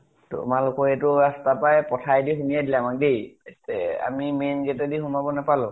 তোমালোকৰ এইটো ৰাষ্টাৰ পৰাই পথাৰে দি দিলে আমাক দেই । এ আমি main gate দি সোমাব নাপালো